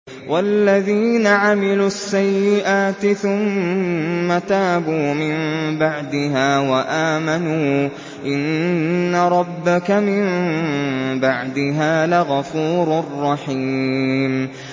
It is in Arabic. وَالَّذِينَ عَمِلُوا السَّيِّئَاتِ ثُمَّ تَابُوا مِن بَعْدِهَا وَآمَنُوا إِنَّ رَبَّكَ مِن بَعْدِهَا لَغَفُورٌ رَّحِيمٌ